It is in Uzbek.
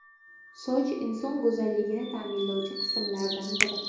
Soch inson go‘zalligini ta’minlovchi qismlardan biri.